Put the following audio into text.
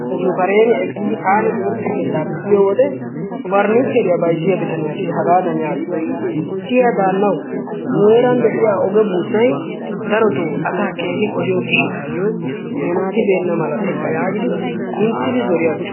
Nu kareen eqqidi taani timirtte keettaappe yiyoode pernichcheriyaa bayzziyaa bitaniyaassi hagaadan yaagees. siya daannawu nu heeran de'iyaa oge buussay asaa darotoo keehi qohiyoo giishshatayoo ne naati beenna mala teeqqa yaagidi minttidi zoori aggiis.